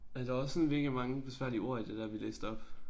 Ja der var også sådan mega mange besværlige ord i det der vi læste op